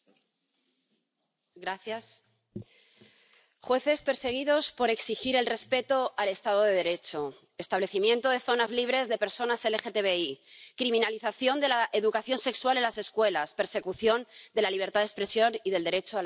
Señor presidente, jueces perseguidos por exigir el respeto al estado de Derecho, establecimiento de zonas libres de personas LGTBI, criminalización de la educación sexual en las escuelas, persecución de la libertad de expresión y del derecho a la información.